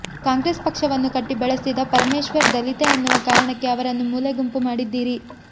ಕಾಂಗ್ರೆಸ್ ಪಕ್ಷವನ್ನು ಕಟ್ಟಿ ಬೆಳೆಸಿದ ಪರಮೇಶ್ವರ್ ದಲಿತ ಎನ್ನುವ ಕಾರಣಕ್ಕೆ ಅವರನ್ನು ಮೂಲೆ ಗುಂಪು ಮಾಡಿದ್ದೀರಿ